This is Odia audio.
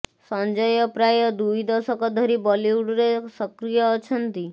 ସଞ୍ଜୟ ପ୍ରାୟ ଦୁଇ ଦଶକ ଧରି ବଲିଉଡରେ ସକ୍ରିୟ ଅଛନ୍ତି